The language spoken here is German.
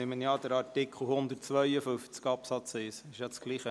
Ich nehme an, dass wir zugleich über den Artikel 152 Absatz 1 abstimmen.